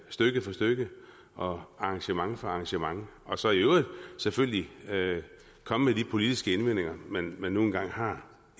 stykke for stykke og arrangement for arrangement og så i øvrigt selvfølgelig komme med de politiske indvendinger man nu engang har